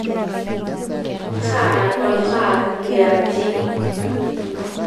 taara oltaa liaji